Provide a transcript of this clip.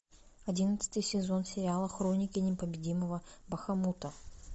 одиннадцатый сезон сериала хроники непобедимого бахамута